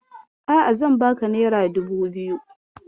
A'a, zan baka nera dubu biyu.